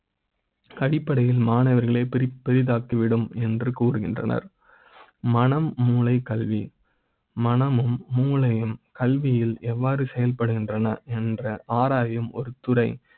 அடிப்படை யில் மாணவர்களை பிரி ப்பதில் தாக்கி விடும் என்று கூறுகின்றனர் மனம் மூளை, கல்வி மன மும், மூளை யும் கல்வி யில் எவ்வாறு செயல்படுகின்றன என்ற ஆரா யும் ஒரு துறை